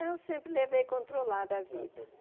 Eu sempre levei controlada a vida.